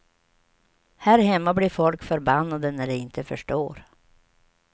Här hemma blir folk förbannade när de inte förstår.